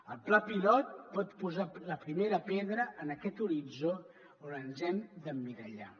el pla pilot pot posar la primera pedra en aquest horitzó on ens hem d’emmirallar